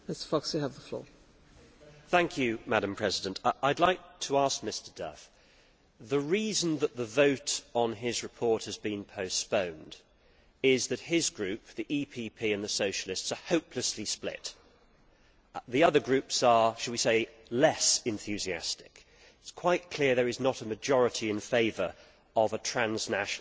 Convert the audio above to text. Madam President, I would like to suggest to Mr Duff that the reason the vote on his report has been postponed is that his Group, the EPP, and the Socialists are hopelessly split. The other groups are, shall we say, less enthusiastic. It is quite clear that there is not a majority in favour of a transnational list and a pan European constituency.